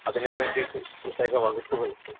speaker 1 അതിനുവേണ്ടീട്ട് പ്രത്യേക വകുപ്പുകൾ